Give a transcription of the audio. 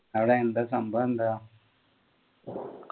അവിടെ എന്താ സംഭവം എന്താ